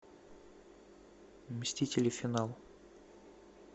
мстители финал